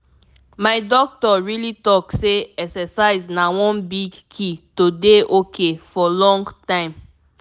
my doctor really talk say exercise na one big key to dey ok for long time.